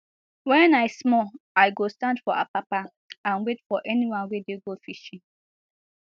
wen i small i go stand for apapa and and wait for anyone wey dey go fishing